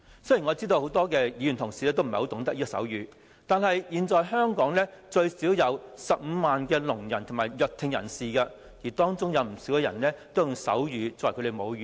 雖然我知道很多議員同事也不懂得手語，但現時香港最少有15萬聾人及弱聽人士，而當中不少人也以手語作為母語。